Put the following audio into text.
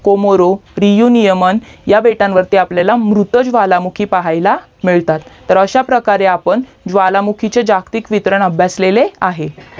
Comoros उरिणीउमाम ह्या बेटावरती मृत्य ज्वालामुखी पाहायला मिळतात तर अश्या प्रकारे आपण ज्वालामुखीचे जागतिक वितरण अभ्यासलेले आहे